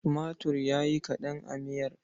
Tumatir ya yi kaɗan a miyar.